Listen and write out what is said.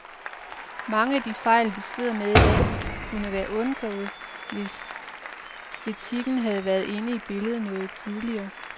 Mange af de fejl, vi sidder med i dag, kunne være undgået, hvis etikken havde været inde i billedet noget tidligere.